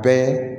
Bɛɛ